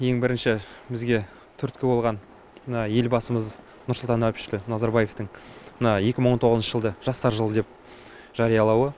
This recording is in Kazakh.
ең бірінші бізге түрткі болған мына елбасымыз нұрсұлтан әбішті назарбаевтың мына екі мың тоғызыншы жылды жастар жылы деп жариялауы